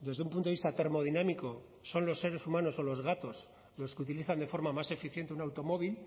desde un punto de vista termodinámico son los seres humanos o los gatos los que utilizan de forma más eficiente un automóvil